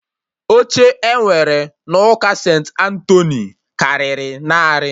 Oche E nwere n'ụka St.Antoni karịrị narị